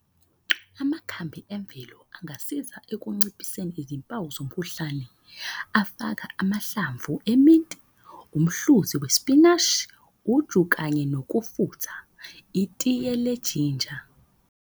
Amakhambi emvelo angasiza ekunciphiseni izimpawu zomkhuhlane. Afaka amahlamvu eminti, umhluzi wesipinashi, uju, kanye nokufutha, itiye lejinja